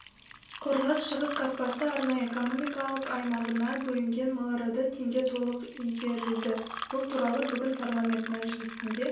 қорғас шығыс қақпасы арнайы экономикалық аймағына бөлінген миллиард теңге толық игерілді бұл туралы бүгін парламент мәжілісінде